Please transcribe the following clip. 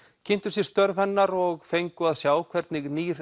kynntu sér störf hennar og fengu að sjá hvernig nýr